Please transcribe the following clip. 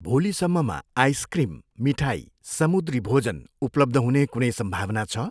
भोलिसम्ममा आइसक्रिम, मिठाई, समुद्री भोजन उपलब्ध हुने कुनै सम्भावना छ?